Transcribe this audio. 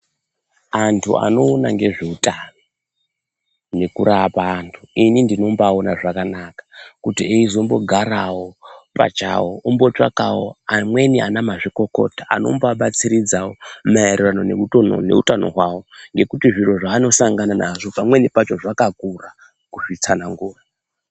Antu anoona ngezveutano ngekurapa antu inini ndinombaona zvakanaka kuti eizombogarawo pachawo ombotsvakawo amweni anamazvikokota anomboabatsiridzawo maererano neutano hwawo, ngekuti zviro zvaanosangana nazvo pamweni pacho zvakakura kuzvitsanangura.